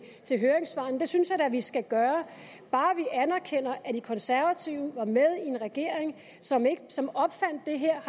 til høringssvarene det synes jeg da vi skal gøre bare vi anerkender at de konservative var med i en regering som som opfandt det her